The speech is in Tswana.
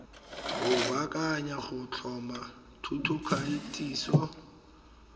go baakanya go tlhoma thutokatiso